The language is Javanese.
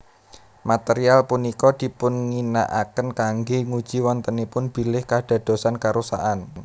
Material punika dipunginakaken kanggé nguji wontenipun bilih kadadosan karusakan